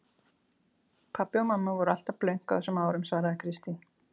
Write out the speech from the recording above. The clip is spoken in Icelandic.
Pabbi og mamma voru alltaf blönk á þessum árum svaraði Kristín.